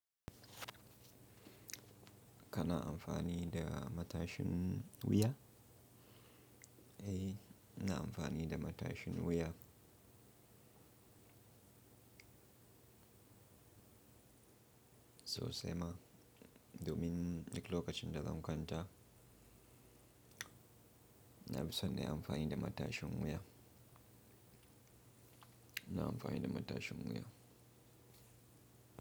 Kana amfani da matashin wuya? Eh, ina amfani da matashin wuya. Sosai ma, domin lokacin da zan kwanta, na fi son na yi amfani da matashin wuya, na amfani da matashin wuya.